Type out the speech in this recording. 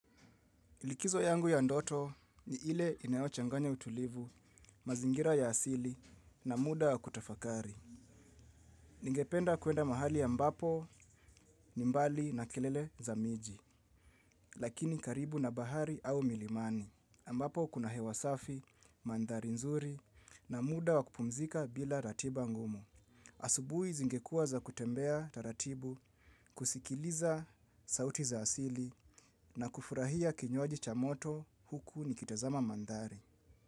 Ilikizo yangu ya ndoto ni ile inayochanganya utulivu, mazingira ya asili na muda wa kutafakari. Ningependa kuenda mahali ambapo ni mbali na kelele za miji, lakini karibu na bahari au milimani. Ambapo kuna hewa safi, mandhari nzuri na muda wa kupumzika bila ratiba ngumu. Asubui zingekuwa za kutembea taratibu, kusikiliza sauti za asili na kufurahia kinywaji cha moto huku nikitazama mandhari.